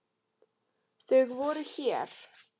Þau voru hér.